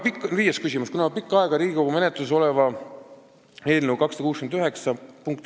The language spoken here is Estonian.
Viies küsimus: "Kuna juba pikka aega Riigikogu menetluses oleva SE 269 p.